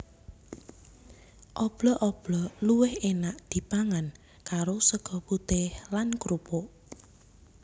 Oblok oblok luwih énak dipangan karo sega putih lan krupuk